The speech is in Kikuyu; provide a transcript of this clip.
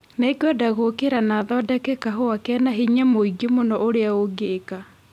Nĩngwenda gũũkĩra na thondeke kahũa kena hinya mũingĩ mũno ũrĩa ũngĩka